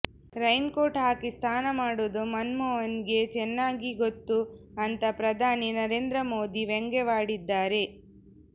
rain coat ಹಾಕಿ ಸ್ನಾನ ಮಾಡುವುದು ಮನಮೋಹನ್ಗೆ ಚೆನ್ನಾಗಿ ಗೊತ್ತು ಅಂತಾ ಪ್ರಧಾನಿ ನರೇಂದ್ರ ಮೋದಿ ವ್ಯಂಗ್ಯವಾಡಿದ್ದಾರೆ